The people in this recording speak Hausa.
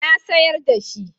Na siyar da shi.